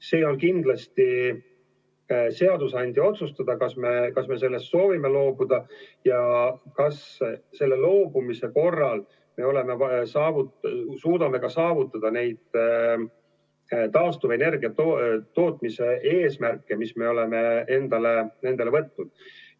See on kindlasti seadusandja otsustada, kas me soovime sellest loobuda ja kas me loobumise korral suudame ka saavutada neid taastuvenergia tootmise eesmärke, mis me oleme endale seadnud.